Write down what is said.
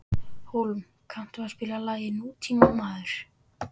Hólm, kanntu að spila lagið „Nútímamaður“?